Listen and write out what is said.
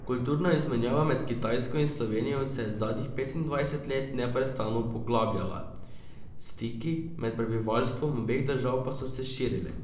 Kulturna izmenjava med Kitajsko in Slovenijo se je zadnjih petindvajset let neprestano poglabljala, stiki med prebivalstvom obeh držav pa so se širili.